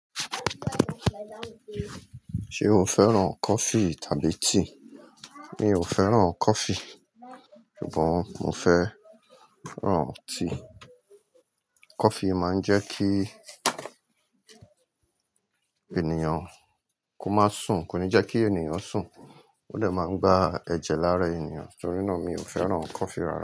Ṣé o fẹ́ràn coffee tàbí tea? Mi ò fẹ́ràn coffee ṣùgbọ́n mo fẹ́ràn tea. Coffee máa ń jẹ́ kí ènìyàn kó má sùn, kò ní jẹ́ kí ènìyàn sùn, ó dẹ máa ń gba ẹ̀jẹ̀ lára ènìyàn. Torí náà mi ò fẹ́ràn coffee rárá.